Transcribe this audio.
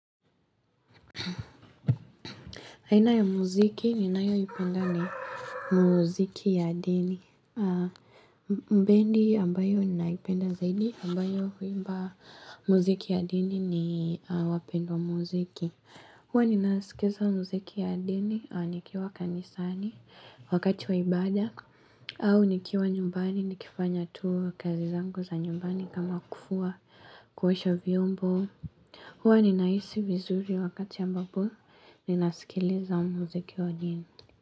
Aina ya mziki, ninayo ipenda ni mziki ya dini. Bendi ambayo ni naipenda zaidi ambayo huimba mziki wa dini ni wapendwa mziki. Huwa nina sikiza mziki wa dini, ni kiwa kanisani wakati waibada. Au nikiwa nyumbani, nikifanya tukazi zangu za nyumbani kama kufua, kuosha vyombo. Huwa ninahisi vizuri wakati ambapo, nina sikiliza mziki wa jindi.